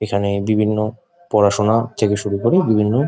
এখানে বিভিন্ন পড়াশুনা থেকে শুরু করে বিভিন্ন।